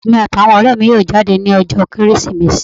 Èmi àti àwọn ọrẹ mi yóò jáde ni ọjọ́ ọdún Kérésìmesì.